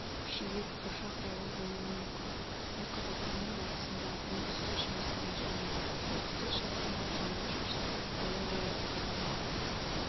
күшейіп бұршақ дауыл болуы мүмкін ал қазақстанның батысында оңтүстік-шығысында және солтүстік-шығысында жауын-шашынсыз ауа райы сақталады